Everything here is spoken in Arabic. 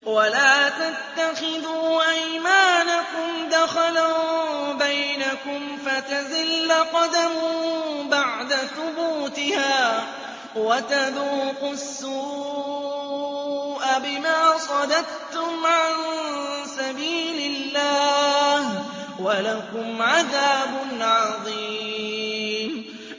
وَلَا تَتَّخِذُوا أَيْمَانَكُمْ دَخَلًا بَيْنَكُمْ فَتَزِلَّ قَدَمٌ بَعْدَ ثُبُوتِهَا وَتَذُوقُوا السُّوءَ بِمَا صَدَدتُّمْ عَن سَبِيلِ اللَّهِ ۖ وَلَكُمْ عَذَابٌ عَظِيمٌ